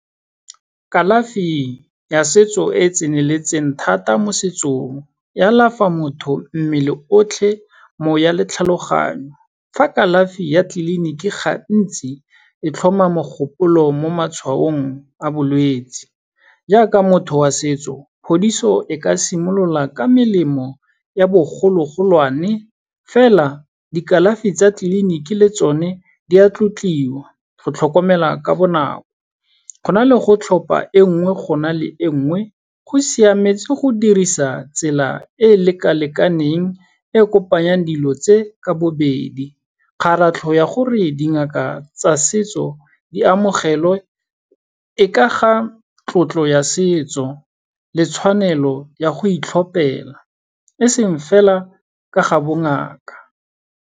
Kalafi ya setso e e tseneletseng thata mo setsong, e a alafa motho mmele otlhe, moya le tlhaloganyo, fa kalafi ya tliliniki gantsi e tlhoma mogopolo mo matshwaong a bolwetsi. Yaka motho wa setso, phodiso e ka simolola ka melemo ya bogologolwane, fela di kalafi tsa tliliniki le tsone di a tlotliwa, go tlhokomela ka bonako, go na le go tlhopa e nngwe go na le e nngwe, go siametse go dirisa tsela e e leka-lekaneng e kopanyang dilo tse, ka bobedi. Kgaratlho ya gore dingaka tsa setso di amogelwe e ka ga tlotlo ya setso le tshwanelo ya go itlhopela, e seng fela ka ga bo ngaka.